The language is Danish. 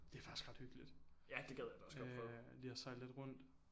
Det er faktisk ret hyggeligt øh lige at sejle lidt rundt